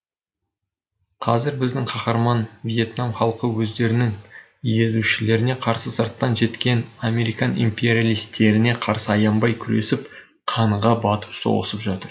қазір біздің қаһарман вьетнам халқы өздерінің езушілеріне қарсы сырттан жеткен американ империалистеріне қарсы аянбай күресіп қанға батып соғысып жатыр